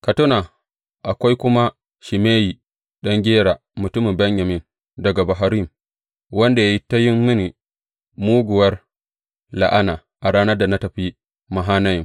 Ka tuna, akwai kuma Shimeyi ɗan Gera, mutumin Benyamin daga Bahurim, wanda ya yi ta yin mini muguwar la’ana a ranar da na tafi Mahanayim.